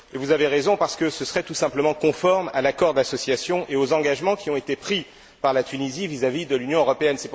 Et vous avez raison, parce que ce serait tout simplement conforme à l'accord d'association et aux engagements qui ont été pris par la Tunisie, vis à vis de l'Union européenne.